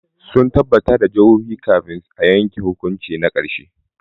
Sun tabbatar da hujjoji kafin a yanke hukunci na karshe.